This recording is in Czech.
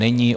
Není.